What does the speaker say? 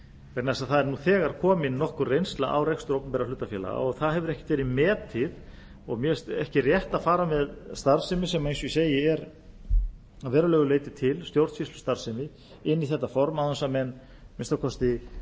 vegna þess að það er nú þegar komin nokkur reynsla á rekstur opinberra hlutafélaga og það hefur ekkert verið metið og mér finnst ekki rétt að fara með starfsemi sem eins og ég segi er að verulegu leyti til stjórnsýslustarfsemi inn í þetta form án þess að menn að minnsta kosti